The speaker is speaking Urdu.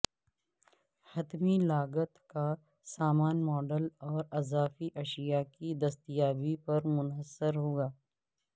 حتمی لاگت کا سامان ماڈل اور اضافی اشیاء کی دستیابی پر منحصر ہوگا